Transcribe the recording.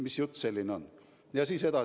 Mis jutt see selline on?